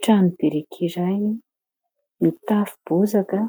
Trano biriky iray mitafo bozaka,